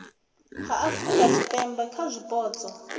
ha afurika tshipembe kha zwipotso